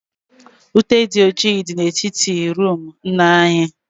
Ute dị ọjị dị na etiti roomu nna anyị